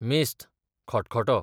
मेस्त, खटखटो